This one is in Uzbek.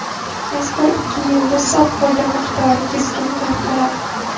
Mazkur ikki yilda sof foyda miqdori keskin farq qiladi.